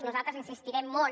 nosaltres insistirem molt